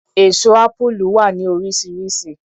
Èso Ápúlú wà ní oríṣiríṣi.